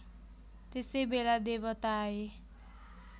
त्यसैबेला देवता आए